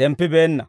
zemppibeenna.